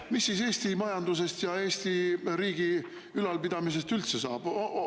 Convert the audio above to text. Mis siis Eesti majandusest ja Eesti riigi ülalpidamisest üldse saab?